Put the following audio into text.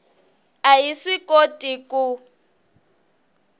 a yi swi koti ku